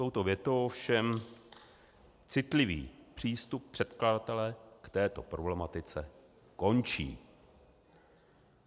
Touto větou ovšem citlivý přístup předkladatele k této problematice končí.